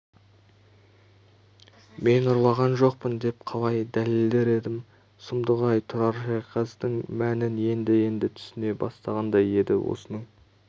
мен ұрлаған жоқпын деп қалай дәлелдер едім сұмдық-ай тұрар шайқастың мәнін енді-енді түсіне бастағандай еді осының